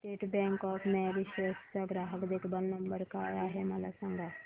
state Bank of Mauritius चा ग्राहक देखभाल नंबर काय आहे मला सांगा